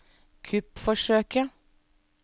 kuppforsøket